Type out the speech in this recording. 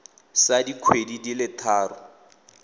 sa dikgwedi di le tharo